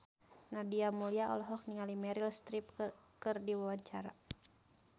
Nadia Mulya olohok ningali Meryl Streep keur diwawancara